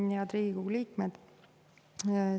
Head Riigikogu liikmed!